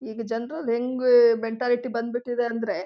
ಈಗ ಜನ್ರು ಹೆಂಗೆ ಮೆಂಟಾಲಿಟಿ ಬಂದ್ಬಿಟ್ಟಿದೆ ಅಂದ್ರೆ--